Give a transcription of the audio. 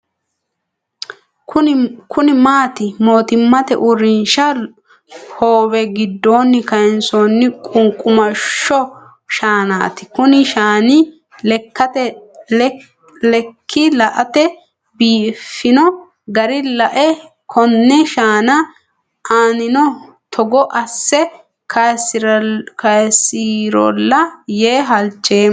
Kunni mitte mootimmate uurinsha hoowe gidoonni kaansoonni qunqumasho shaanaati. Kunni shaanni Ike late biifino gara lae konne shaanna aannino Togo ase kaasirola yee halchoomo.